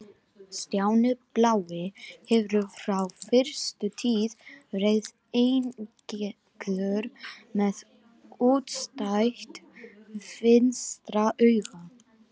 Stjáni blái hefur frá fyrstu tíð verið eineygður, með útstætt vinstra auga.